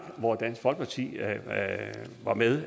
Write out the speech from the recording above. hvor dansk folkeparti var med